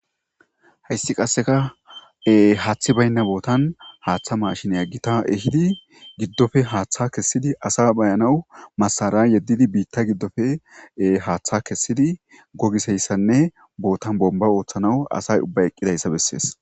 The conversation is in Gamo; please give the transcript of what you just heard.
hayssi qasseka e haaththi baynna bootan haaththa mashiniya gita ehidi giddofe haaththa kessidi asa bayanawu masara yeddidi biitta giddofe haaththa kessidi gogiseyssanne bootan bomba ooththanaw asay ubba eqqidayssa bessees.